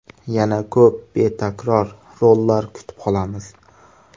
Yana ko‘p betakror rollar kutib qolamiz.